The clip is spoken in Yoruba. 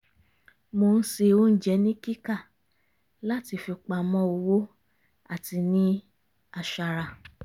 mo ń se oúnjẹ ni kíkà láti fipamọ́ owó àti ní aṣara